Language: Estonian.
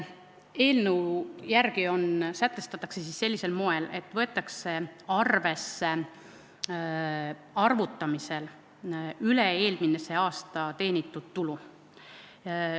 Eelnõu järgi sätestatakse sellisel moel, et arvutamisel võetakse arvesse üle-eelmisel aastal teenitud tulu.